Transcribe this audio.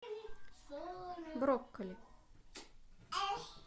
брокколи